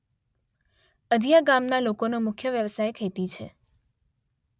અધીયા ગામના લોકોનો મુખ્ય વ્યવસાય ખેતી છે.